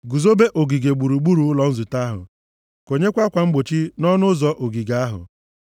Guzobe ogige gburugburu ụlọ nzute ahụ. Konyekwa akwa mgbochi nʼọnụ ụzọ ogige ahụ.